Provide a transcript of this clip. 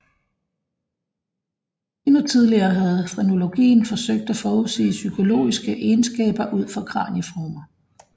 Endnu tidligere havde frenologien forsøgt at forudsige psykologiske egenskaber ud fra kranieformer